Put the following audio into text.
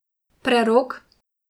Prerok?